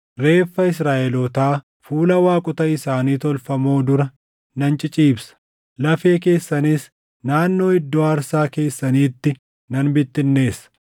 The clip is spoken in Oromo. Reeffa Israaʼelootaa fuula waaqota isaanii tolfamoo dura nan ciciibsa; lafee keessanis naannoo iddoo aarsaa keessaniitti nan bittinneessa.